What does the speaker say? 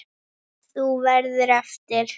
Þú verður eftir.